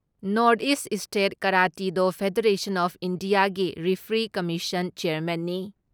North East state karate do federation of ꯏꯟꯗꯤꯌꯥꯒꯤ referee commission ꯆꯦꯌꯥꯔꯃꯦꯟꯅꯤ ꯫